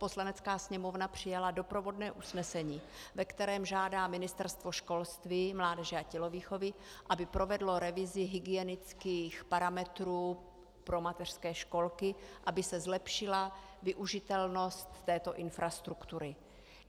Poslanecká sněmovna přijala doprovodné usnesení, ve kterém žádá Ministerstvo školství, mládeže a tělovýchovy, aby provedlo revizi hygienických parametrů pro mateřské školky, aby se zlepšila využitelnost této infrastruktury.